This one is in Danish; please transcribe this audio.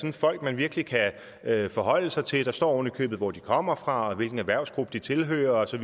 er folk man virkelig kan forholde sig til der står ovenikøbet hvor de kommer fra og hvilken erhvervsgruppe de tilhører som